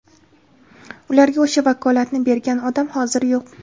Ularga o‘sha vakolatni bergan odam hozir yo‘q.